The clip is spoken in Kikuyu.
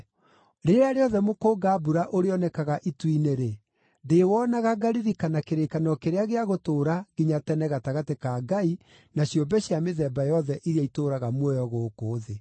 Rĩrĩa rĩothe mũkũnga-mbura ũrĩonekaga itu-inĩ-rĩ, ndĩĩwonaga ngaririkana kĩrĩkanĩro kĩrĩa gĩa gũtũũra nginya tene gatagatĩ ka Ngai na ciũmbe cia mĩthemba yothe iria itũũraga muoyo gũkũ thĩ.”